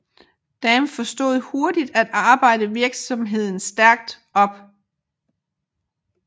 Damm forstod hurtigt at arbejde virksomheden stærkt op